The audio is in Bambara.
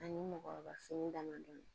Ani mɔgɔkɔrɔba fini damadɔni